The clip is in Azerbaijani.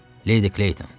Leydi Kleyton.